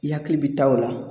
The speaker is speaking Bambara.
I hakili bi taa o la.